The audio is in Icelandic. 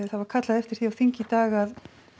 það var kallað eftir því á þingi í dag að